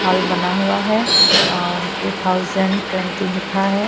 Hall बना हुआ है और टू थाउसंड टवेंटी लिखा है।